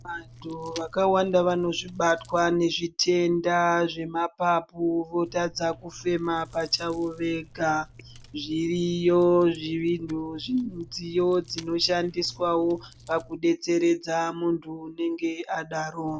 Vanhu vakawanda vanozvibatwaa nezvitenda zvemapapu votadza kufema pachavo Vega zviriyo zvidziyo Zvinoshandiswa pakudetseredza muntu anenge adaro.